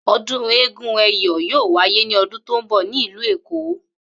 O̩dún eégún Ẹyọ̀ yóò wáyé ní o̩dún tó ń bò̩ ní ìlú Èkó